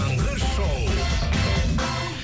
таңғы шоу